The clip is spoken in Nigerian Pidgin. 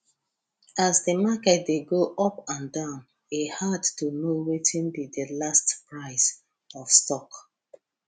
as the market dey go up and down e hard to know wetin be the last price of stock